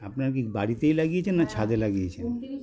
আপনার কী বাড়িতেই লাগিয়েছেন না ছাদে লাগিয়েছেন